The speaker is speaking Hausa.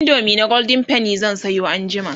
indomie na golden penny zan Sayo anjima